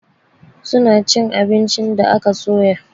Suna chin abinci da aka soya